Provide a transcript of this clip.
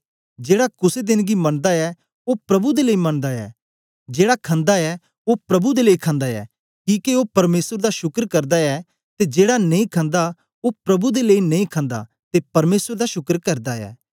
जेड़ा कुसे देन गी मनदा ऐ ओ प्रभु दे लेई मनदा ऐ जेड़ा खंदा ऐ ओ प्रभु दे लेई खंदा ऐ किके ओ परमेसर दा शुक्र करदा ऐ ते जेड़ा नेई खन्दा ओ प्रभु दे लेई नेई खन्दा ते परमेसर दा शुक्र करदा ऐ